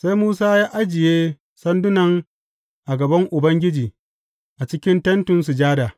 Sai Musa ya ajiye sandunan a gaban Ubangiji a cikin Tentin Sujada.